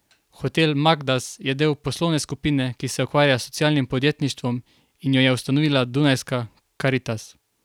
Hotel Magdas je del poslovne skupine, ki se ukvarja s socialnim podjetništvom in jo je ustanovila dunajska Karitas.